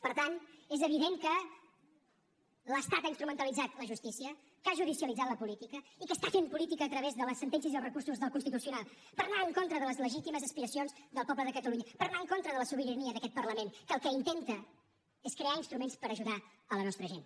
per tant és evident que l’estat ha instrumentalitzat la justícia que ha judicialitzat la política i que està fent política a través de les sentències i els recursos del constitucional per anar en contra de les legítimes aspiracions del poble de catalunya per anar en contra de la sobirania d’aquest parlament que el que intenta és crear instruments per ajudar la nostra gent